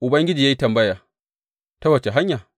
Ubangiji ya yi tambaya, Ta wace hanya?’